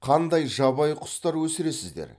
қандай жабайы құстар өсіресіздер